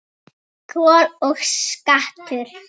Kol og skattur